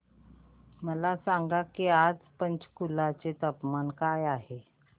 मला सांगा की आज पंचकुला चे तापमान काय आहे